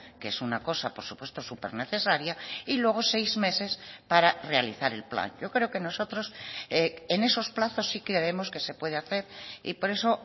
que es una cosa por supuesto supernecesaria y luego seis meses para realizar el plan yo creo que nosotros en esos plazos sí que vemos que se puede hacer y por eso